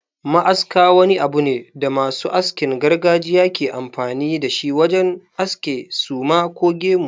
Ma'aska wani abu ne da masu askin gargajiya ke amfani da shi wajen aske suma ko gemu.